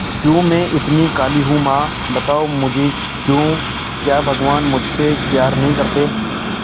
क्यों मैं इतनी काली हूं मां बताओ मुझे क्यों क्या भगवान मुझसे प्यार नहीं करते